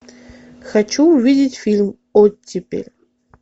хочу увидеть фильм оттепель